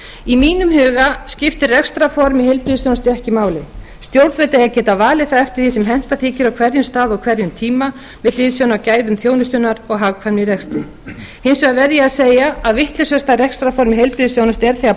í mínum huga skiptir rekstrarform í heilbrigðisþjónustu ekki máli stjórnvöld eiga að geta valið það eftir því sem henta þykir á hverjum stað og hverjum tíma með hliðsjón af gæðum þjónustunnar og hagkvæmni í rekstri hins vegar verð ég að segja að vitlausasta rekstrarform í heilbrigðisþjónustu er þegar